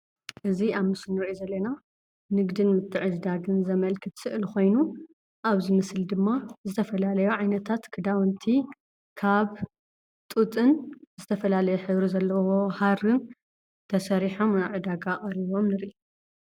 እዚ ኣብ ምስሊ ንሪኦ ዘለና ንግድን ምትዕድዳግን ዘመልክት ስእሊ ኾይኑ ኣብዚ ምስሊ ድማ ዝተፈላለዩ ዓይነታት ክዳውንቲ ካብ ጡጥን ዝተፈላለየ ሕብሪ ዘለዎ ሃርን ተሰሪሖም ናብ ዕዳጋ ቀሪቦም ንርኢ፡፡